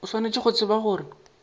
o swanetše go tseba gore